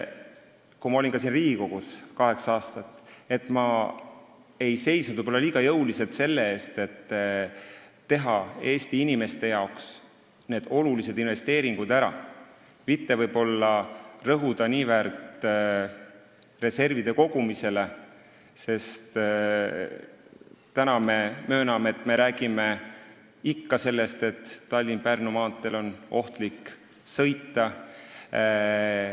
Kui ma olin kaheksa aastat siin Riigikogus, siis ma ei seisnud võib-olla küllalt jõuliselt selle eest, et tehtaks ära need Eesti inimestele olulised investeeringud, selle asemel et rõhuda niivõrd reservide kogumisele, sest nüüd me mööname, et Tallinna–Pärnu maanteel on ohtlik sõita.